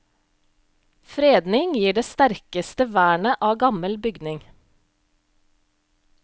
Fredning gir det sterkeste vernet av gammel bygning.